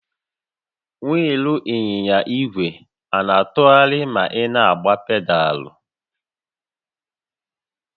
Wịịlụ ịnyịnya ìgwè na-atụgharị ma ị na-agba pedaalụ?